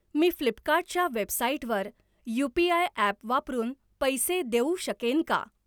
मी Flipkart च्या वेबसाइटवर UPI. App वापरून पैसे देऊ शकेन का?